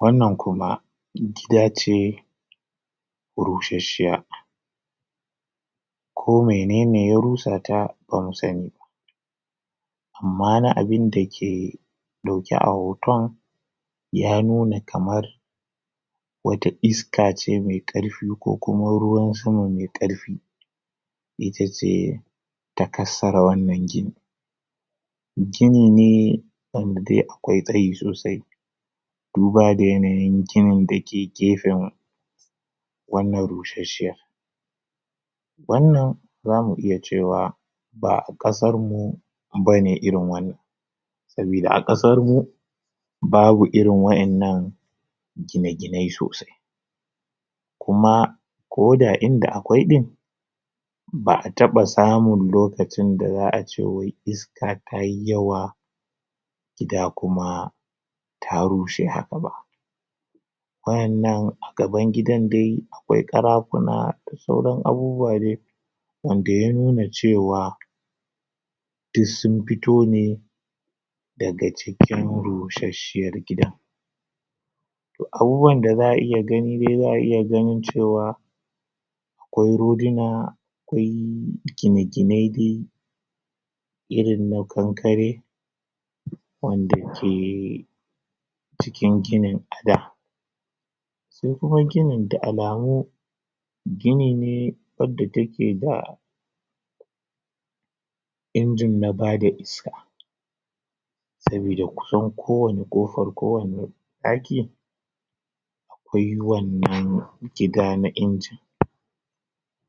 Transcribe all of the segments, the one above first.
wannan kuma gida ce rushasshiya ko menene ya rusata ban saniba amma na abin dake dauke a hoton ya nuna kamar wata isaka ce mai karfi ko kuma ruwan sama mai karfi itace ta kassara wannan gini gini ne wanda de akwai tsayi sosai duba da yanayin gini dake gefen wannan rusasshiyar wannan zamu iya cewa ba 'a kasarmu bane irin wannan sabida a kasarmu babu irin waiyannan gine gine sosai kuma koda inda akwai din ba 'a taba samun lokacin da za'ace wai iska tayi yawa gida kuma ta rushe haka ba waiyanan gaban gidan dai akwai karafuna da sauran abubuwa dai wanda ya nuna cewa dus sun fito ne daga cikin rusasshiyar gida toh abubuwan da za'a iya gani de za'a iya ganin cewa akwai roduna akwai gine gine de irin na kankare wanda ke cikin ginin a da su kuma ginin da alamu gini ne wadda take da ingine na bada iska sabida kusan kowani kofar ko wani ɗaki akwai wannan jiga na ingine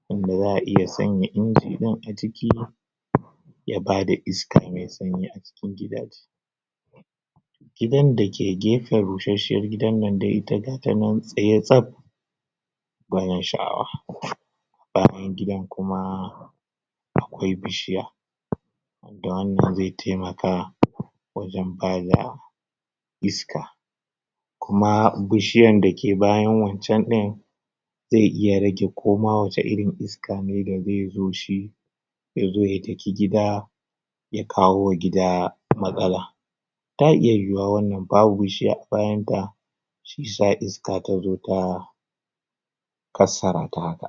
wanda za'a iya sanya ingine din aciki ya bada iska me sanyi acikin gidaje gidan dake gefen rushasshiyar gidan nan da ita zatanan tsaye tsaf gwanin sha'awa bayan gidan kuma akwai bishiya da wanda ze taimaka wajan bada iska kuma bishiyar dake bayan wanchan din ze iya rage koma wace irin iska ne daze zo shi yazo ya daki gida ya kawo gida matsala ta iya yu'uwa wannan babu bishiya a bayanta shiyasa iska tazo ta kassarata haka